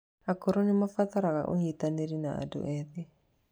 Akũrũ nĩ marabatara ũnyitanĩri na andũ ethĩ.